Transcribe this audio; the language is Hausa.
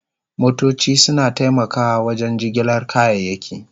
Motoci suna taimakawa wajen jigilar kayayyaki.